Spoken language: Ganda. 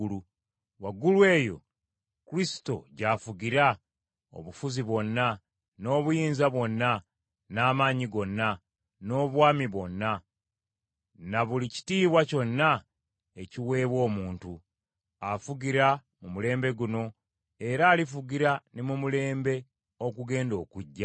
Waggulu eyo, Kristo gy’afugira obufuzi bwonna, n’obuyinza bwonna, n’amaanyi gonna, n’obwami bwonna, na buli kitiibwa kyonna ekiweebwa omuntu. Afugira mu mulembe guno, era alifugira ne mu mulembe ogugenda okujja.